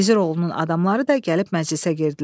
Gizir oğlunun adamları da gəlib məclisə girdilər.